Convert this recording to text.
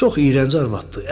Çox iyrənc arvaddır.